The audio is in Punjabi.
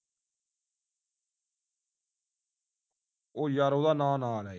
ਉਹ ਯਾਰੋ ਉਹਦਾ ਨਾਂ ਨਾਂ ਲੈਂ